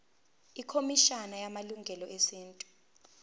ikhomishana yamalungelo esintu